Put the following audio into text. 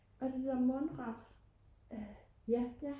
årh det er da mundret